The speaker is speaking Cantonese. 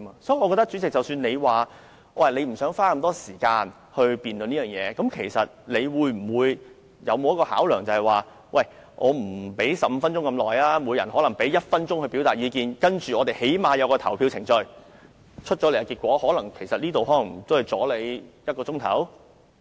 即使主席不想花這麼長時間辯論此事，但你有沒有考慮過即使不讓每名議員發言15分鐘，也可以給每名議員1分鐘時間表達意見，然後起碼進行投票程序，這樣做也可能只是耽誤1小時左